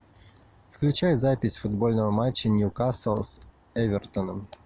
включай запись футбольного матча ньюкасл с эвертоном